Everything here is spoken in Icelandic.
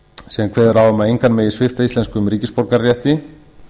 sem kveður á um að engan megi svipta íslenskum ríkisborgararétti